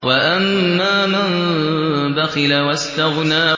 وَأَمَّا مَن بَخِلَ وَاسْتَغْنَىٰ